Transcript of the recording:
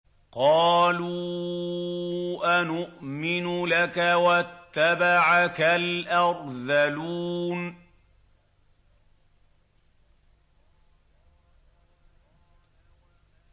۞ قَالُوا أَنُؤْمِنُ لَكَ وَاتَّبَعَكَ الْأَرْذَلُونَ